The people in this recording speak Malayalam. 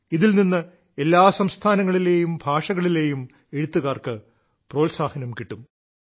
ഇതിൽ നിന്ന് എല്ലാ സംസ്ഥാനങ്ങളിലെയും ഭാഷകളിലെയും എഴുത്തുകാർക്ക് പ്രോത്സാഹനം കിട്ടും